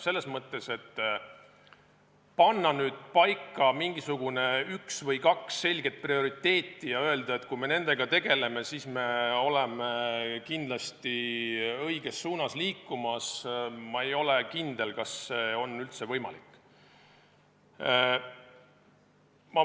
Selles mõttes, et panna nüüd paika mingisugune üks või kaks selget prioriteeti ja öelda, et kui me nendega tegeleme, siis me liigume kindlasti õiges suunas – ma ei ole kindel, kas see on üldse võimalik.